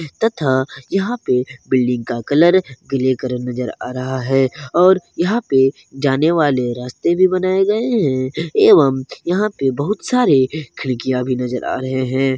तथा यहां पे बिल्डिंग का कलर ग्रे कलर नजर आ रहा है और यहां पे जाने वाले रास्ते भी बनाए गए हैं एवं यहाँ पे बहुत सारे खिड़कियां भी नजर आ रहे हैं।